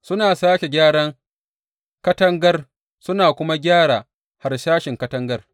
Suna sāke gyara katangar, suna kuma gyara harsashin katangar.